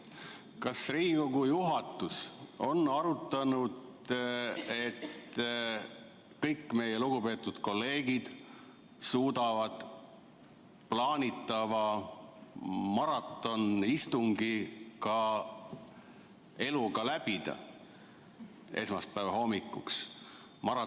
Kas Riigikogu juhatus on arutanud, et kõik meie lugupeetud kolleegid suudavad plaanitava maratonistungi ka eluga läbida esmaspäeva hommikuks?